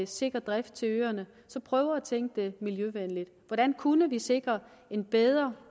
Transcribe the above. sikker drift til øerne prøve at tænke det miljøvenligt hvordan kunne vi sikre en bedre